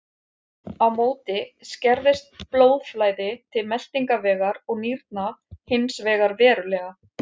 Á móti skerðist blóðflæði til meltingarvegar og nýrna hins vegar verulega.